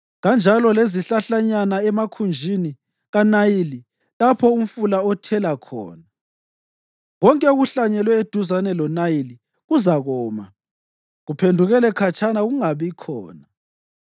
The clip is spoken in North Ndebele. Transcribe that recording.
kanjalo lezihlahlanyana emakhunjini kaNayili lapho umfula othela khona. Konke okuhlanyelwe eduzane loNayili Kuzakoma, kuphephukele khatshana Kungabikhona.